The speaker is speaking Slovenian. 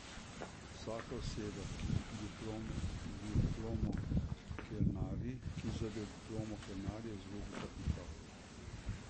Vsaka oseba, ki z diplomo kelnari, je izgubljen kapital.